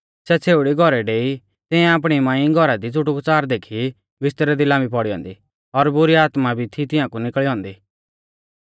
सै छ़ेउड़ी घौरै डेई तियांऐ आपणी मांई घौरा दी च़ुटुकच़ार देखी बिस्तरै दी लाम्बी पौड़ी औन्दी और बुरी आत्मा भी थी तियांकु निकल़ी औन्दी